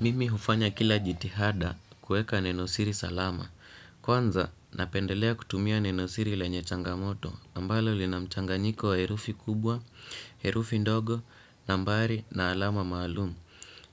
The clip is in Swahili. Mimi hufanya kila jitihada kuweka neno siri salama. Kwanza napendelea kutumia neno siri lenye changamoto. Ambalo linamchanganyiko wa herufi kubwa, herufi ndogo, nambari na alama maalumu.